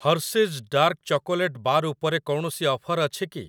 Hershey's dark chocolate bar ଉପରେ କୌଣସି offer ଅଛି କି?